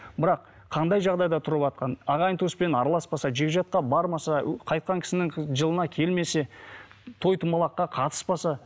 бірақ қандай жағдайда тұрватқанын ағайын туыспен араласпаса жекжатқа бармаса қайтқан кісінің жылына келмесе той домалаққа қатыспаса